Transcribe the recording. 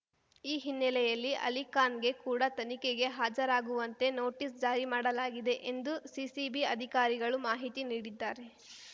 ಈ ಹಿನ್ನೆಲೆಯಲ್ಲಿ ಅಲಿಖಾನ್‌ಗೆ ಕೂಡ ತನಿಖೆಗೆ ಹಾಜರಾಗುವಂತೆ ನೋಟಿಸ್‌ ಜಾರಿ ಮಾಡಲಾಗಿದೆ ಎಂದು ಸಿಸಿಬಿ ಅಧಿಕಾರಿಗಳು ಮಾಹಿತಿ ನೀಡಿದ್ದಾರೆ